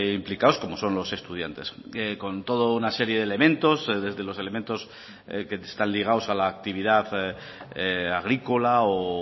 implicados como son los estudiantes con toda una serie de elementos desde los elementos que están ligados a la actividad agrícola o